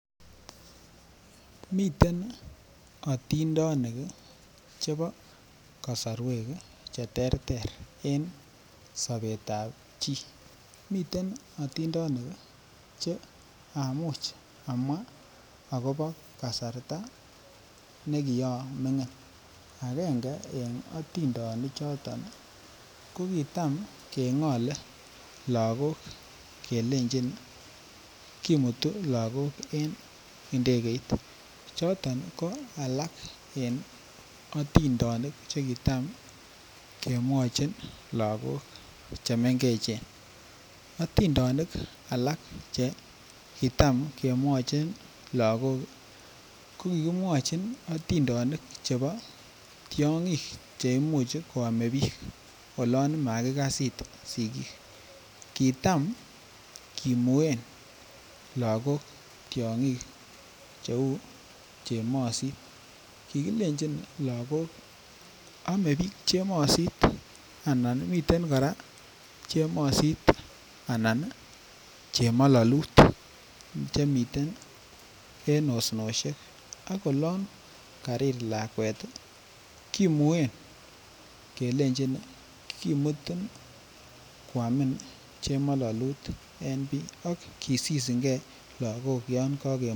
Miten atindonik chebo kasarwek Che terter en sobetab chi miten atindonik Che amuch amwa akobo kasarta nekiamigin agenge en atindonichoto ko kitam kengole lagok kelenjin kimutu lagok en Ndegeit choton alak en atindonik Che kitam kemwochin lagok chemengechen atindonik alak kitam kemwochin lagok ko ki mwochin atindonik Che Imuch koame bik olon makikas it sigik kitam kimuen lagok tiongik cheu chemosit kikilenji lagok aame bik chemosit anan miten kora chemololut Che miten en osnosiek ak olon karir lakwet kimuen kelenjin kimutin koamin chemalalut en Bii ak kisisin lagok yon kagimwochi kouni